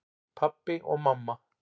Pabbi og mamma